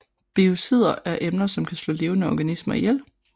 Biocider er emner som kan slå levende organismer ihjel